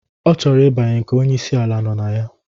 Ọ chọrọ ibanye nke onyi isi ala nọ na ya.